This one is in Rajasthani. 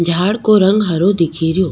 झाड़ को रंग हरो दिखेरयो।